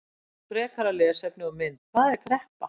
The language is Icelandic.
Frekara lesefni og mynd: Hvað er kreppa?